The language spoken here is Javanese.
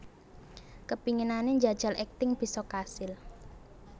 Kepinginane njajal akting bisa kasil